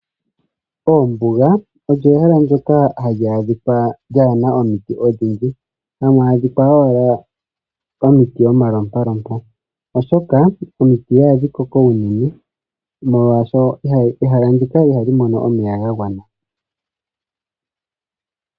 Oombuga odho ehala ndyoka hali adhika kaa li na omiti odhindji, odhi li mo wala omalompalompa, oshoka omiti ihadhi koko unene molwaashoka ombuga ihayi mono omeya ga gwana.